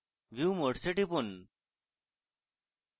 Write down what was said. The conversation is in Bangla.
view modes এ টিপুন